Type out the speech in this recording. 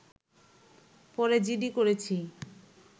পরে জিডি করেছি